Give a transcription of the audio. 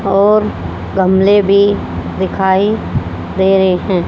और गमले भी दिखाई दे रहे हैं।